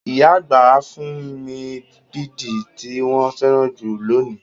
Ìyá àgbà fún mi bidi tí wọn féràn jù lónìí.